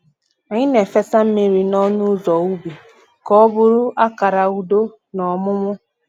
Anyị na-efesa mmiri n’ọnụ ụzọ ubi ka ọ bụrụ akara udo na ọmụmụ